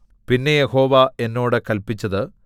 പിന്നെ യഹോവ എന്നോട് കല്പിച്ചത്